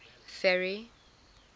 ferry